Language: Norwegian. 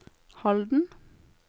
Halden